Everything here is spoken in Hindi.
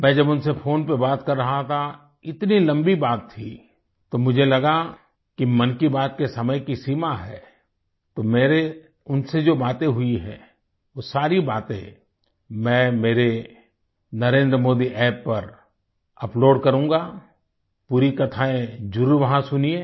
मैं जब उनसे फोन पर बात कर रहा था इतनी लम्बी बात थी तो मुझे लगा कि मन की बात के समय की सीमा है तो मेरी उनसे जो बातें हुई है वो सारी बातें मैं मेरे NarendraModiApp पर अपलोड करूँगा पूरी कथाएँ ज़रूर वहाँ सुनिए